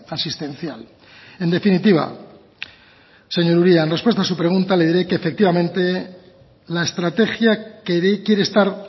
asistencial en definitiva señor uria en respuesta a su pregunta le diré que efectivamente la estrategia que quiere estar